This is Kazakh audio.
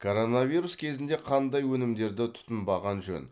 коронавирус кезінде қандай өнімдерді тұтынбаған жөн